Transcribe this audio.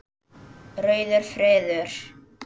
Rauður friður